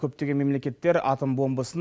көптеген мемлекеттер атом бомбасын